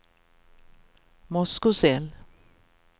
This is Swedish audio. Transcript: Moskosel